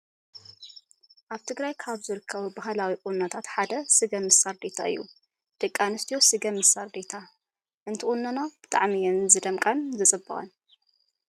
ኣብ ትግራይ ካብ ዝርከቡ ባህላዊ ቁኖታት ሓደ ስገም ምስ ሳርዴታ እዩ። ደቂ ኣንስትዮ ስገም ምስ ሳርዴታ እንትቁነና ብጣዕሚ እየን ዝደምቃን ዝፅብቃን ።